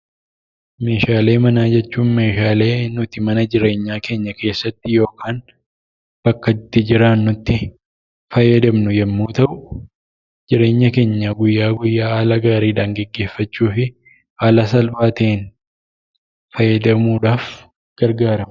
Meeshaalee manaa jechuun meeshaalee nuti mana jireenyaa keenya keessatti yookiin bakka jiraannutti fayyadamnu yommuu ta'u, jireenya keenya guyyaa guyyaa haala gaariidhaan gaggeeffachuu fi haala salphaa ta'een fayyadamuudhaaf gargaaramna.